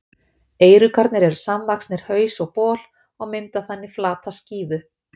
Eyruggarnir eru samvaxnir haus og bol og mynda þannig flata skífu.